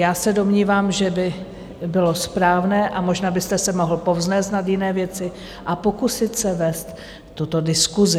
Já se domnívám, že by bylo správné, a možná byste se mohl povznést nad jiné věci a pokusit se vést tuto diskusi.